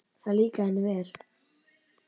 Það líkaði henni vel.